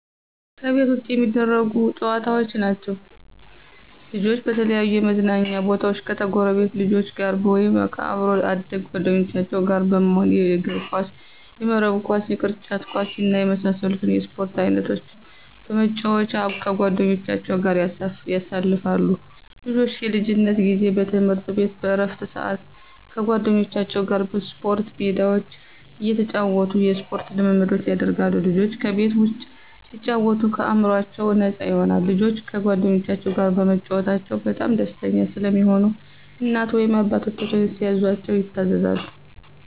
ከቤት ውጭ የሚደረጉ ጨዋታዎች ናቸዉ። ልጆች በተለያዩ የመዝናኛ ቦታወች ከጎረቤት ልጆች ጋር ወይም ከአብሮ አደግ ጓደኞቻቸው ጋር በመሆን የእግርኳስ፣ የመረብ ኳስ፣ የቅርጫት ኳስ እና የመሳሰሉትን የስፖርት አይነቶች በመጫወት ከጓደኞቻቸው ጋር ያሳልፋሉ። ልጆች የልጅነት ጊዜ በትምህርት ቤት በእረፍት ስአት ከጓደኞቻቸው ጋር በስፖርት ሜዳቸው እየተጫወቱ የስፖርት ልምምድ ያደርጋሉ። ልጆች ከቤት ውጭ ሲጫወቱ አእምሮአቸው ነፃ ይሆናል። ልጆች ከጓደኞቻቸው ጋር በመጫወታቸው በጣም ደስተኛ ስለሚሆኑ እናት ወይም አባታቸው ሲያዛቸው ይታዘዛሉ።